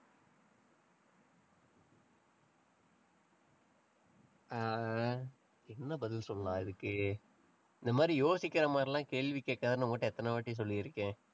ஆஹ் என்ன பதில் சொல்லலாம் இதுக்கு இந்த மாதிரி யோசிக்கிற மாதிரி எல்லாம் கேள்வி கேட்காதேன்னு உன்கிட்ட எத்தனைவாட்டி சொல்லிருக்கேன்?